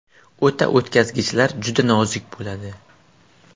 O‘ta o‘tkazgichlar juda nozik bo‘ladi.